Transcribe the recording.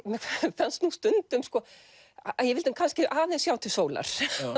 fannst nú stundum að ég vildi aðeins sjá til sólar